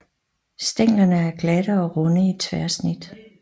Stænglerne er glatte og runde i tværsnit